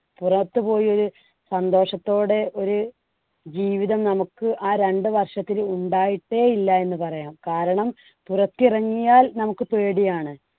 പുറത്തുപോയ ഒരു സന്തോഷത്തോടെ ഒരു ജീവിതം നമുക്ക് ആ രണ്ടു വർഷത്തിൽ ഉണ്ടായിട്ടേ ഇല്ല എന്ന് പറയാം. കാരണം പുറത്തിറങ്ങിയാൽ നമുക്ക് പേടിയാണ്.